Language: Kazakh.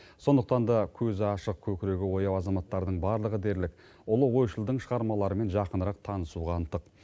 сондықтан да көзі ашық көкірегі ояу азаматтардың барлығы дерлік ұлы ойшылдың шығармаларымен жақынырақ танысуға ынтық